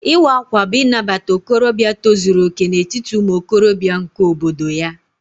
Ịwa ákwà bú Inabata okorobịa tozuru okè n'etiti umuokorobia nke obodo ya